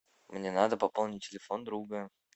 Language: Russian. мне надо пополнить телефон друга